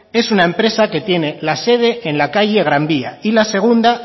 es una empresa que tiene la sede en la calle gran vía y la segunda